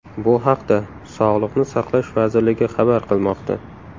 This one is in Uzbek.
Bu haqda Sog‘liqni saqlash vazirligi xabar qilmoqda .